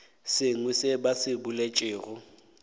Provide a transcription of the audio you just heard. sengwe seo ba se boletšego